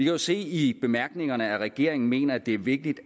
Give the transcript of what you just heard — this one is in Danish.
jo se i bemærkningerne at regeringen mener at det er vigtigt